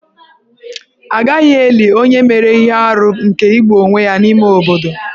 A gaghị eli onye mere ihe arụ nke igbu onwe ya n'ime obodo.